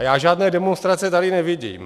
A já žádné demonstrace tady nevidím.